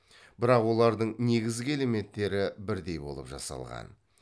бірақ олардың негізгі элементтері бірдей болып жасалған